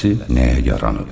eləsi nəyə yaranıb?